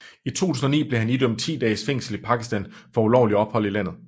I 2009 blev han idømt 10 dages fængsel i Pakistan for ulovlig ophold i landet